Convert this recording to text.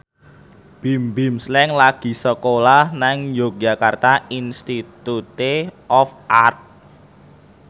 Bimbim Slank lagi sekolah nang Yogyakarta Institute of Art